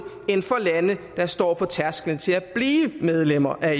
end for lande der står på tærsklen til at blive medlemmer af